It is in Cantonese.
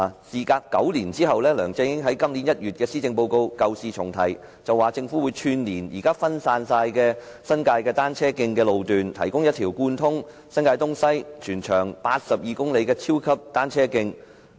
"事隔9年，梁振英在今年1月發表施政報告時舊事重提，表示政府會串連現在分散在新界的單車徑，打造一條貫通新界東西、全長82公里的超級單車徑。